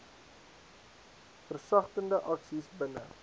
versagtende aksies binne